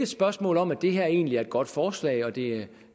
spørgsmål om at det her egentlig er et godt forslag og at det